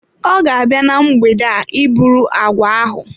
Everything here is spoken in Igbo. Ọ ga-abịa na mgbede a iburu agwa ahụ.